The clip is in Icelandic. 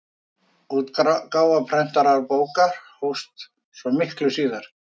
Útgáfa prentaðra bóka hófst svo miklu síðar.